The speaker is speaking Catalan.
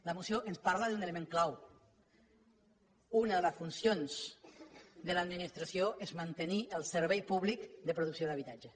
la moció ens parla d’un element clau una de les funcions de l’administració és mantenir el servei públic de producció d’habitatges